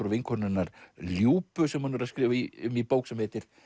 og vinkonu hennar Ljubu sem hún er að skrifa um í bók sem heitir